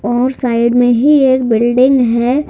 ओर side में ही एक बिल्डिंग है।